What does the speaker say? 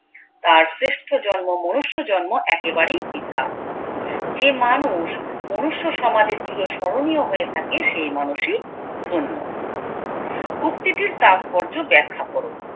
তার শ্রেষ্ঠ জন্ম মনুষ্য জন্ম একেবারেই বৃথা যে মানুষ মনুষ্য সমাজে চির স্মরণীয় হয়ে থাকে সেই মানুষই ধন্য উক্তিটির তাৎপর্য ব্যাখ্যা করো